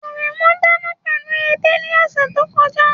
Aremu dana pẹlu ede ni ọsẹ to kọja